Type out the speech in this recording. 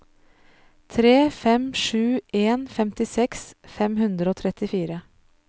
tre fem sju en femtiseks fem hundre og trettifire